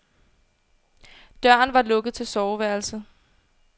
Døren var lukket til soveværelset.